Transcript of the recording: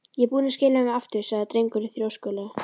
Ég er búinn að skila þeim aftur sagði drengurinn þrjóskulega.